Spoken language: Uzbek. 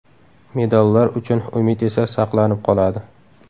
Medallar uchun umid esa saqlanib qoladi.